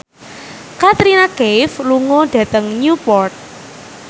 Katrina Kaif lunga dhateng Newport